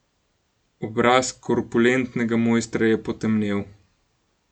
Obraz korpulentnega mojstra je potemnel.